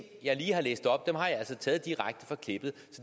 stede